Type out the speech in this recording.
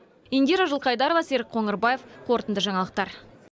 индира жылқайдарова серік қоңырбаев қорытынды жаңалықтар